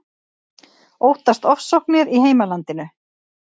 Óttast ofsóknir í heimalandinu